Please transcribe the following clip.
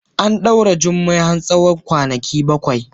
An daure Jummai har tsawon kwanaki bakwai.